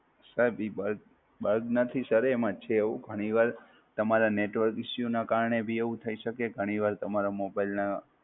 સાહેબ ઈ Bug, bug નથી Sir એ એમાં છે એવું ઘણીવાર તમારા Network issues નાં કારણે બી એવું થઈ શકે, ઘણીવાર તમારા Mobile નાં